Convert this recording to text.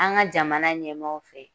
An ka jamana ɲɛmaaw fɛ